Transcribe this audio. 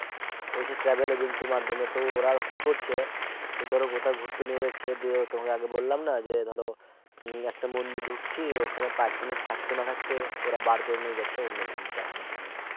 ঐ সে Travel agency এর মাধ্যমে তো ওরা কি করছে ধরো কোথাও ঘুরতে নিয়ে যাচ্ছে দিয়ে তোমাকে আগে বললাম না যে ধরো একটা মন্দির ঢুকছি ওখানে পাচ মিনিট থাকতে না থাকতে ওরা বার করে নিয়ে যাচ্ছে অন্য মন্দির দেখানোর জন্য